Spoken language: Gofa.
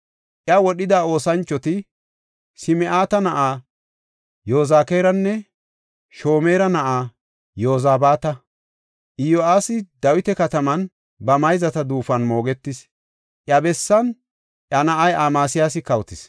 Iya wodhida oosanchoti Sim7ata na7aa Yozakaaranne Shomeera na7aa Yozabaata. Iyo7aasi Dawita Kataman ba mayzata duufon moogetis; iya bessan iya na7ay Amasiyaasi kawotis.